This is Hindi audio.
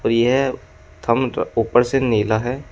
ये थंब ऊपर से नीला है।